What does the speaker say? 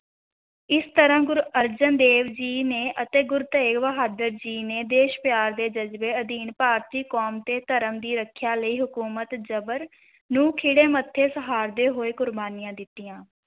ਇਸ ਤਰ੍ਹਾਂ ਗੁਰੂ ਅਰਜਨ ਦੇਵ ਜੀ ਨੇ ਅਤੇ ਗੁਰੂ ਤੇਗ਼ ਬਹਾਦਰ ਜੀ ਨੇ ਦੇਸ਼-ਪਿਆਰ ਦੇ ਜਜ਼ਬੇ ਅਧੀਨ ਭਾਰਤੀ ਕੌਮ ਤੇ ਧਰਮ ਦੀ ਰੱਖਿਆ ਲਈ ਹਕੂਮਤ ਜਬਰ ਨੂੰ ਖਿੜੇ ਮੱਥੇ ਸਹਾਰਦੇ ਹੋਏ ਕੁਰਬਾਨੀਆਂ ਦਿੱਤੀਆਂ।